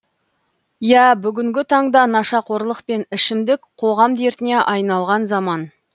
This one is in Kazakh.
ия бүгінгі таңда нашақорлық пен ішімдік қоғам дертіне айналған заман